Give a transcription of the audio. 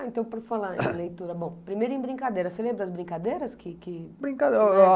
Ah, então por falar em leitura, bom, primeiro em brincadeiras, você lembra as brincadeiras? Que que... Brincadeiras